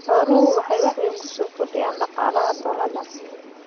Xooluhu waxay wax weyn ku soo kordhinayaan dhaqaalaha tuulada.